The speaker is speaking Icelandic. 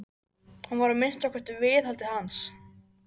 Hún var að minnsta kosti viðhaldið hans.